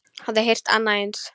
Hafiði heyrt annað eins?